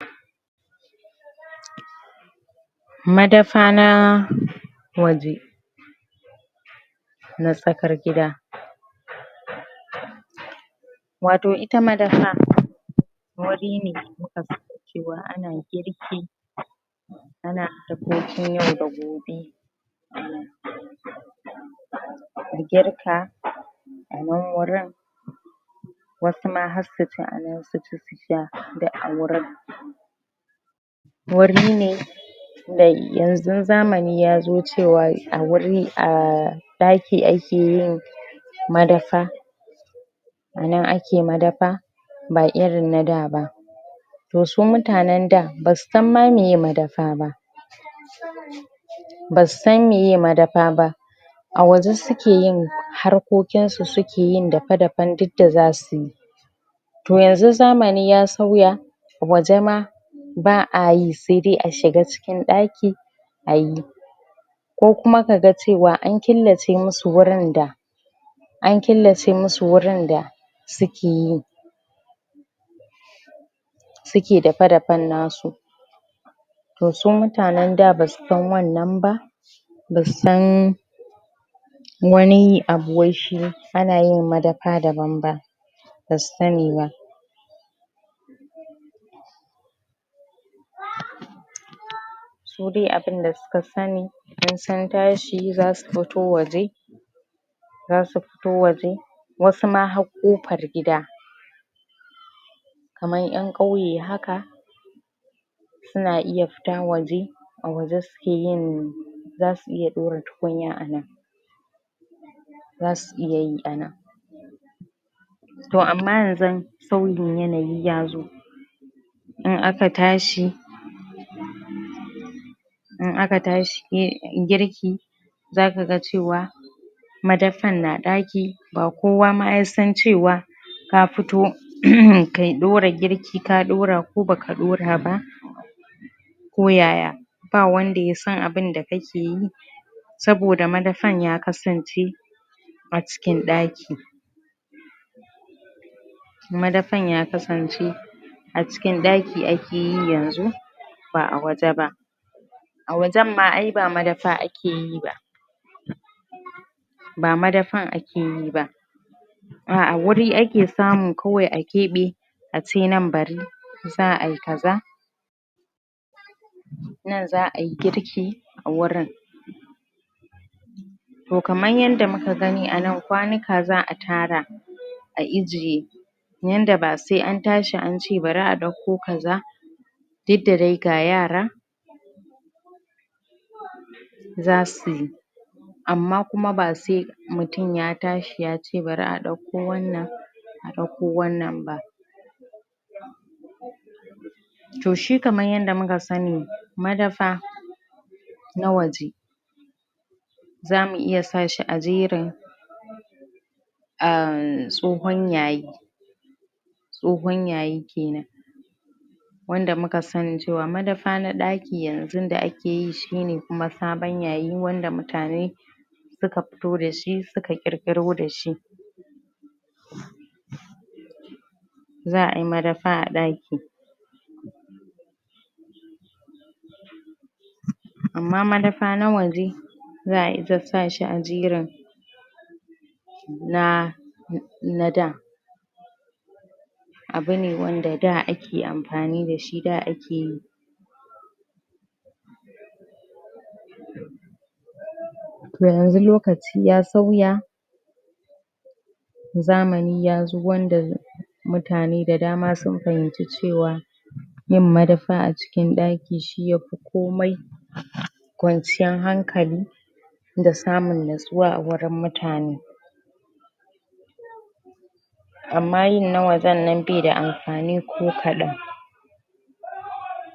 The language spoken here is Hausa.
madafa na waje na tsakar gida wato ita madafa wuri ne? cewa ana girki ana abincin yau da gobe? girka anan wurin wasu ma har su ci anan su ci su sha duk a wurin wuri ne yanzu zamani yazo cewa a wuri ahh ɗaki ake yin madafa a nan ake madafa ba irin na da ba to su mutanen da basu san ma meye madafa ba basu san meye madafa ba a waje suke yin harkokin su suke yin dafe dafen duk da zasu yi to yanzu zamani ya sauya waje ma ba'a yi sai dai a shiga cikin ɗaki ayi ko kuma kaga cewa an killace musu wurin da an killace musu wurin da suke yi suke dafe dafenna su to su mutanen da basu san wannan ba basu san ani abu wai shi ana yin madafa daban ba basu sani ba su dai abin da suka sani in sun tashi za su fito waje za su fito waje wasu ma har ƙofar gida kaman 'yan ƙauye haka su na iya fita waje a waje suke yin za su iya ɗora tukunya a nan za su iya yi anan to amma yanzu sauyin yanayi ya zo in aka tashi in aka tashi yin girki za ka ga cewa madafar na ɗaki ba kowa ma ya san cewa ka fito uhumm kai ɗora girki ka ɗora ko baka ɗora ba ko ya ya ba wanda yasan abin da ka ke yi saboda madafan ya kasan ce a cikin ɗaki madafan ya kasance a cikin ɗaki ake yi yanzu ba a waje ba a wajenma ai ba madafa ake yi ba ba madafan ake yi ba a a wuri ake samu kawai a keɓe a ce nan bari za'ayi ka za nan za'ayi girki a wurin to kaman yanda muka gani a nan kwanika za'a tara a ijiye yanda ba sai an tashi an ce bari a ɗauko ka za duk da dai ga yara za suy amma kuma ba sai mutum ya tashi ya ce bari a ɗauko wannan a ɗauko wannan ba to shi kaman yanda mu ka sani madafa na waje zamu iya sa shi a jerin ahh tsohon ya yi tsohon ya yi kenan wanda muka sani cewa madafa na ɗaki yanzun da ake yi shine kuma sabon ya yi wanda mutane suka fito da shi suka ƙirƙiro da shi za'ayi madafa a ɗaki amma madafa na waje za'ayi ta sa shi a jerin na na da abu ne wanda da ake amfani da shi da ake yi to yanzu lokaci ya sauya zamani ya zo wanda mutane da dama sun fahimci cewa yin madafa a cikin ɗaki shi yafi komai kwanciyan hankali da samun nutsuwa a wurin mutane amma yin na wajennan baida amfani ko kaɗan